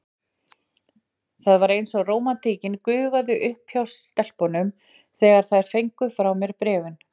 Það var eins og rómantíkin gufaði upp hjá stelpunum, þegar þær fengu frá mér bréfin.